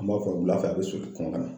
An m'a fɔ wulafɛ a bɛ soli kɔn ka na.